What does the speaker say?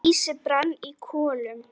Lýsi brann í kolum.